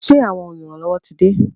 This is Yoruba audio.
Ṣé àwọn oluranlowo tí de?